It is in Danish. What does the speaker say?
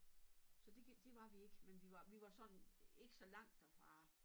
Så det det var vi ikke men vi var vi var sådan ikke så langt derfra